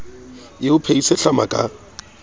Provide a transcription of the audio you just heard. e o phehise hlama ka